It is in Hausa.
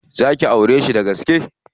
Za ki aureshi dagaske?